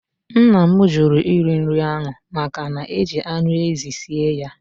Nna m jụrụ iri nri ahụ maka na-eji anụ ezi sie ya.